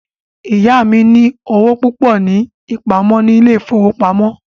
Ìyá mí ní owó púpọ ní ìpamọ́ ní ilé ìfọwọ́pamo.